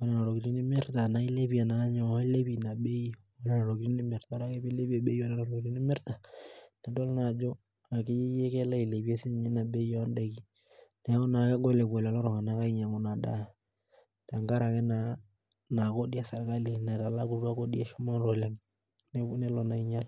onena tokiting nimirta naa ilepie naa nyoo, ilepie ina bei onena tokiting nimirta. Ore ake pilepie bei onena tokiting nimirta, nidol naajo akeyieyie kelo ailepie ina bei odaiki. Neeku naa kegol epuo lelo tung'anak ainyang'u inadaa. Tenkaraki naa inakodi eserkali naitalakutua kodi eshumata oleng. Neeku nelo naa ainyal.